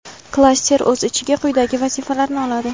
klaster o‘z ichiga quyidagi vazifalarni oladi:.